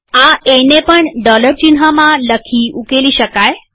આ એ ને પણ ડોલર ચિહ્નમાં લખી ઉકેલી શકાય